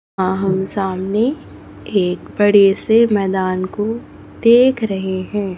हा हम सामने एक बड़े से मैदान को देख रहे हैं।